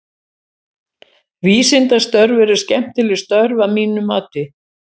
Vísindastörf eru skemmtileg störf að mínu mati.